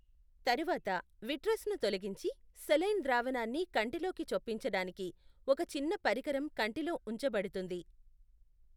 తరువాత, విట్రస్ను తొలగించి, సెలైన్ ద్రావణాన్ని కంటిలోకి చొప్పించడానికి ఒక చిన్న పరికరం కంటిలో ఉంచబడుతుంది.